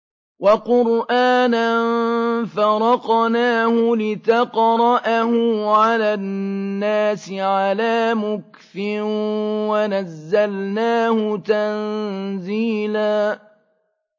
وَقُرْآنًا فَرَقْنَاهُ لِتَقْرَأَهُ عَلَى النَّاسِ عَلَىٰ مُكْثٍ وَنَزَّلْنَاهُ تَنزِيلًا